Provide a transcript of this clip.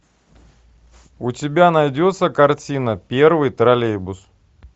у тебя найдется картина первый троллейбус